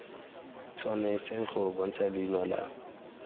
tshwanetse go bontsha leina la